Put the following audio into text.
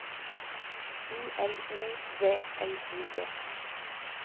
U L O V L I G